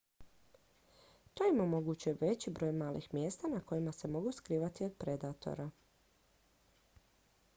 to im omogućuje veći broj malih mjesta na kojima se mogu skrivati od predatora